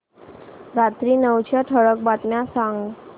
रात्री नऊच्या ठळक बातम्या सांग